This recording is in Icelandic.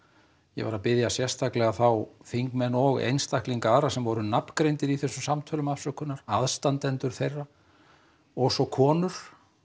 ég var að biðja sérstaklega afsökunar þá þingmenn og einstaklinga aðra sem voru nafngreindir í þessum samtölum afsökunar aðstandendur þeirra og svo konur